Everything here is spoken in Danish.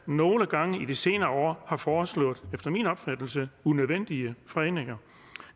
nogle gange i de senere år har foreslået efter min opfattelse unødvendige fredninger